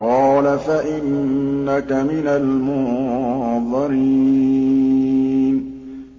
قَالَ فَإِنَّكَ مِنَ الْمُنظَرِينَ